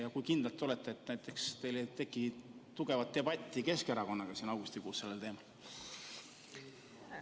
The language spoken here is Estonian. Ja kui kindel te olete, et teil ei teki Keskerakonnaga augustikuus sel teemal tugevat debatti?